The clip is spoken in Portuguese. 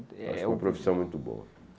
É Acho uma profissão muito boa.